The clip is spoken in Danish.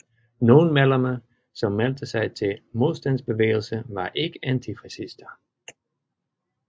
Nogle medlemmer som meldte sig til modstandsbevægelser var ikke antifascister